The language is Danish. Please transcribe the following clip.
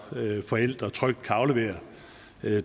forældre trygt kan aflevere